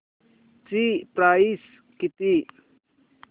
ची प्राइस किती